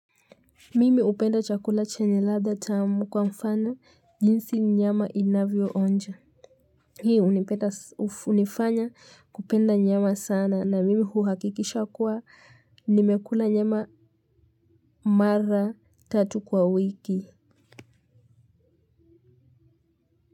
Mimi hupenda chakula chenye ladha tamu kwa mfano jinsi nyama inavyoonja. Hii hunifanya kupenda nyama sana na mimi huhakikisha kwa nimekula nyama mara tatu kwa wiki.